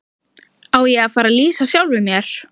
Á ég að fara að lýsa sjálfum mér?